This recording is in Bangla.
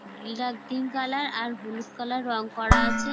গিলাক পিংক কালার আর হলুদ কালার রং করা আছে ।